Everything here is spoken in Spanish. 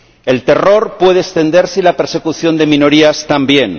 El terror puede extenderse y la persecución de minorías también